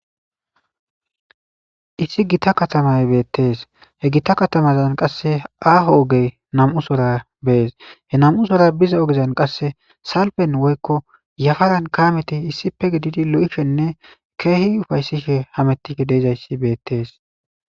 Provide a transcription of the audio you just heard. issi gita katamay beettees he gita katamazan qasse aaho ogey nam7u sora bees he nam7u sora biza ogezan qasse salfen woykko yafaran kaameti issipe gididi lo7ishenne keehi ufayssisfhe hamettife deizayssi beettees